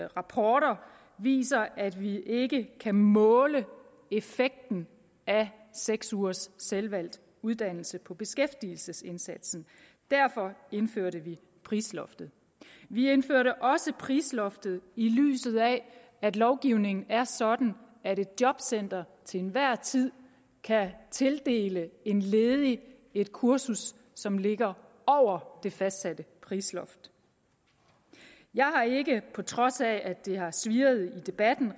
rapporter viser at vi ikke kan måle effekten af seks ugers selvvalgt uddannelse på beskæftigelsesindsatsen derfor indførte vi prisloftet vi indførte også prisloftet i lyset af at lovgivningen er sådan at et jobcenter til enhver tid kan tildele en ledig et kursus som ligger over det fastsatte prisloft jeg har ikke på trods af at det gange har svirret i debatten